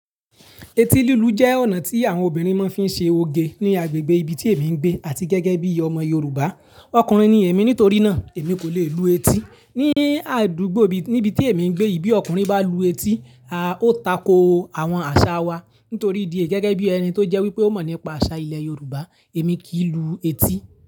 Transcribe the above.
Etí lúlù jẹ́ ọ̀nà tí àwọn obìnrin máa ń fi ṣe oge ní agbègbè ibi tí èmi ń gbé àti gẹ́gẹ́ bí ọmọ Yorùbá. Ọkùnrin ni èmi, nítorí náà èmi kò le lu etí. Ní àdúgbò níbi tí èmi ń gbé yìí bí ọkùnrin bá lu etí, a ó tako àwọn àṣà wa. Nítorí ìdí èyí gẹ́gẹ́ bí ẹni tó jẹ́ wípé ó mọ̀ nípa àṣà ilẹ̀ Yorùbá, èmi kì í lu etí.